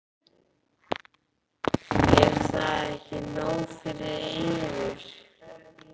Er það ekki nóg fyrir yður?